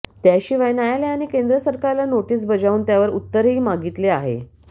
त्याशिवाय न्यायालयाने केंद्र सरकारला नोटीस बजावून त्यावर उत्तरही मागितले आहे